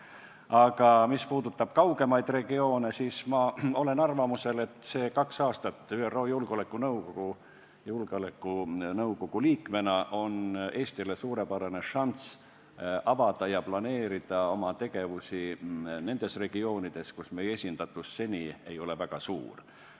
Aga mis puudutab kaugemaid regioone, siis ma olen arvamusel, et kaks aastat ÜRO Julgeolekunõukogu liikmena on Eestile suurepärane šanss avada ja planeerida oma tegevusi nendes regioonides, kus meie esindatus seni pole olnud väga suur.